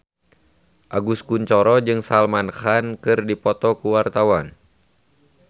Agus Kuncoro jeung Salman Khan keur dipoto ku wartawan